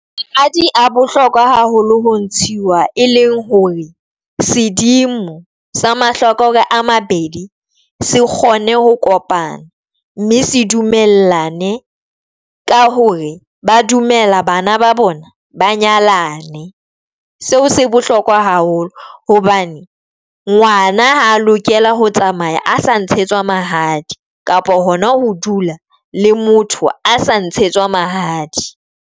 Mahadi bohlokwa haholo ho ntshiwa, e leng hore sedimo sa mahlokore a mabedi se kgone ho kopana, mme se dumellane ka hore ba dumela bana ba bona ba nyalane. Seo se bohlokwa haholo hobane ngwana ha lokela ho tsamaya a sa ntshetswa mahadi kapa hona ho dula le motho a sa ntshetswa mahadi.